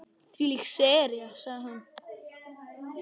Þvílík sería sagði hún.